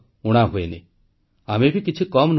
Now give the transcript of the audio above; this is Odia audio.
ବନ୍ଧୁଗଣ ଦିନ ସପ୍ତାହ ମାସ ଓ ବର୍ଷ ବଦଳିଯାଏ